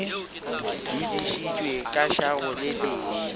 dudišitše ka šago le tee